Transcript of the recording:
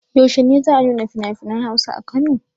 Yaushe ne za a nuna finafinan Hausa a Kano?